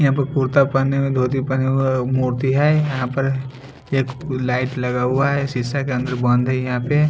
यहाँ पर कुर्ता पहने हुए धोती पहने हुए मूर्ती है यहाँ पर एक लाईट लगा हुआ है शीशा के भीतर बंद है यहाँ पे--